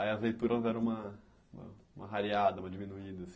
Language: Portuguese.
Aí as leituras eram uma uma rareada, uma diminuída, assim.